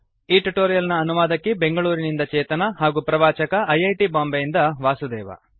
ಈ ಟ್ಯುಟೋರಿಯಲ್ ನ ಅನುವಾದಕಿ ಬೆಂಗಳೂರಿನಿಂದ ಚೇತನಾ ಹಾಗೂ ಪ್ರವಾಚಕ ಐ ಐ ಟಿ ಬಾಂಬೆಯಿಂದ ವಾಸುದೇವ